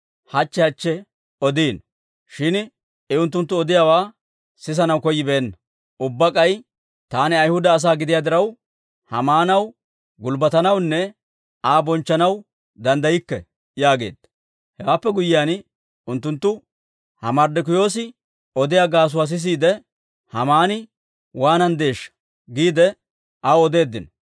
hachche hachche odiino; shin I unttunttu odiyaawaa sisanaw koyyibeenna. Ubbaa k'ay, «Taani Ayhuda asaa gidiyaa diraw, Haamaanaw gulbbatanawunne Aa bonchchanaw danddaykke» yaageedda. Hewaappe guyyiyaan unttunttu, «Ha Marddokiyoosi odiyaa gaasuwaa sisiide, Haamani waananddeeshsha!» giidde, aw odeeddino.